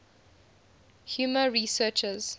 humor researchers